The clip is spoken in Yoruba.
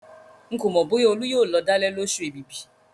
Ń kò mọ bóyá olú yóò lọ̀dálẹ̀ lósù èbìbì